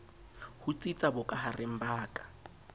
ho tsitsa bokahareng ba ka